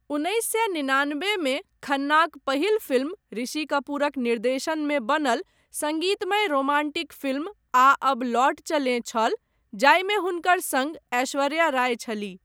उन्नैस सए निनानबे मे खन्नाक पहिल फिल्म ऋषि कपूरक निर्देशनमे बनल सङ्गीतमय रोमांटिक फिल्म 'आ अब लौट चलें' छल, जाहिमे हुनकर सङ्ग ऐश्वर्या राय छलीह।